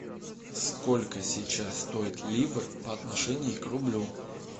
сколько сейчас стоит ливр по отношению к рублю